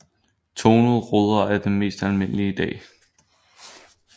Tonede ruder er mest almindelige i dag